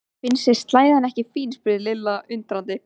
Finnst þér slæðan ekki fín? spurði Lilla undrandi.